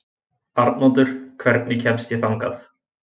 Arnoddur, hvernig kemst ég þangað?